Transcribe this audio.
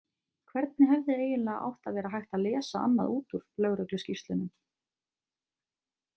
Hvernig hefði eiginlega átt að vera hægt að lesa annað út úr lögregluskýrslunum?